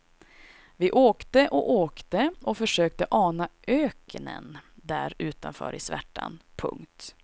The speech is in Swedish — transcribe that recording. Vi åkte och åkte och försökte ana öknen där utanför i svärtan. punkt